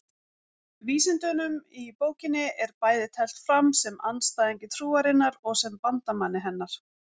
Vísindunum í bókinni er bæði teflt fram sem andstæðingi trúarinnar og sem bandamanni hennar.